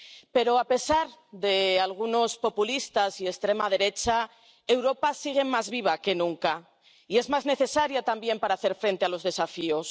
Pero a pesar de algunos populistas y de la extrema derecha, Europa sigue más viva que nunca y es más necesaria también para hacer frente a los desafíos.